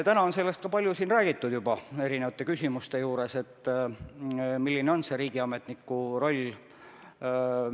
Täna on siin erinevate küsimuste juures juba palju räägitud, milline on riigiametniku roll.